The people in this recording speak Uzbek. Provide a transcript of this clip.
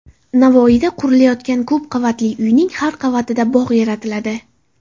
Navoiyda qurilayotgan ko‘p qavatli uyning har qavatida bog‘ yaratiladi.